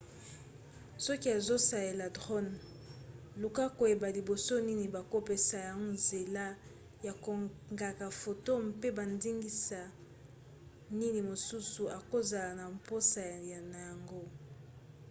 soki ozosalela drone luka koyeba liboso nini bakopesa yo nzela ya kokanga foto mpe bandingisa nini mosusu okozala na mposa na yango